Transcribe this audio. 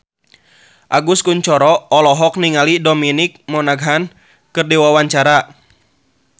Agus Kuncoro olohok ningali Dominic Monaghan keur diwawancara